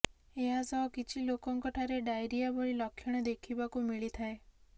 ଏହାସହ କିଛି ଲୋକଙ୍କ ଠାରେ ଡାଇରିଆ ଭଳି ଲକ୍ଷଣ ଦେଖିବାକୁ ମିଳିଥାଏ